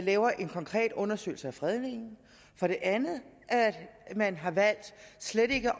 laver en konkret undersøgelse af fredningen for det andet at man har valgt slet ikke